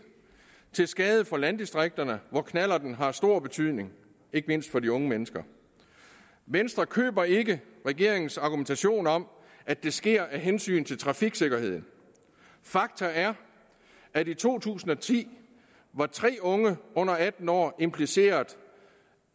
og til skade for landdistrikterne hvor knallerten har stor betydning ikke mindst for de unge mennesker venstre køber ikke regeringens argumentation om at det sker af hensyn til trafiksikkerheden fakta er at i to tusind og ti var tre unge under atten år impliceret